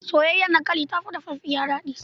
Soyayyar dankali ta fi dafaffiya daɗi.